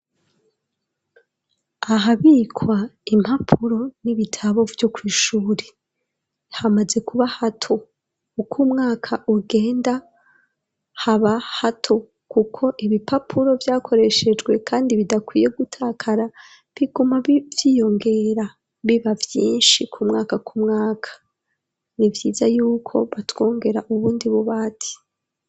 Ahabikwa impapuro n'ibitabo vyo kw'ishuri hamaze kuba hato uko umwaka ugenda haba hato, kuko ibipapuro vyakoreshejwe, kandi bidakwiye gutakara biguma ivyiyongera biba vyinshi umwaka ku mwaka ni ivyiza yuko batwongera ubundi buba ati.